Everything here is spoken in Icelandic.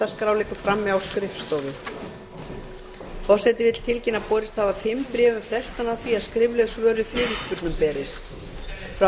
forseti vill tilkynna að borist hafa fimm bréf um frestun á því að skrifleg svör við fyrirspurnum berist fyrstu frá